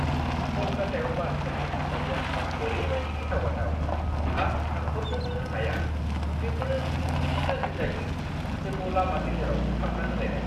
कलकातायाव बासफोरनि थासारिआ ओरैबायदि गिथाव-बाथाव! आं सानह'रनोनो हाया बेफोरो खुनबेसे गाज्रि जायो, जोंखौ लामा गेजेराव थाबथाहोलायनाय।